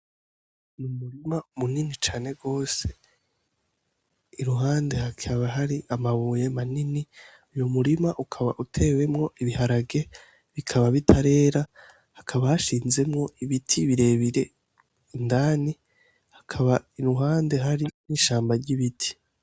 Umurima mu nini cane gose iruhande hakaba hari amabuye manini uwo murima ukaba uteyemwo ibiharage bikaba bitarera haba hashinzemwo ibiti birebire indani iruhande hakaba hari n'ishamba ry'ibiti.